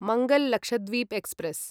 Mangal Lakshadweep express